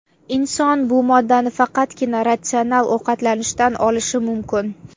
Inson bu moddani faqatgina ratsional ovqatlanishdan olishi mumkin.